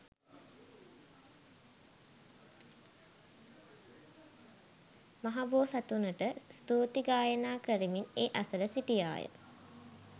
මහබෝසතුනට ස්තුති ගායනා කරමින් ඒ අසළ සිටියා.